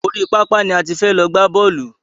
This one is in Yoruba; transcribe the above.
Orí pápá ni a ti fẹ́ lọ gbá bọ́ọ̀lù.